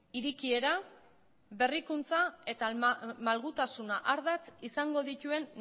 irekiera berrikuntza eta malgutasuna ardatz izango dituen